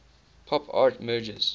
pop art merges